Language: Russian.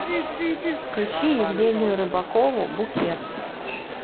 включи евгению рыбакову букет